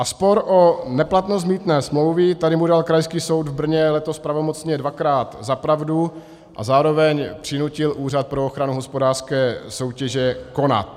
A spor o neplatnost mýtné smlouvy, tady mu dal Krajský soud v Brně letos pravomocně dvakrát za pravdu a zároveň přinutil Úřad pro ochranu hospodářské soutěže konat.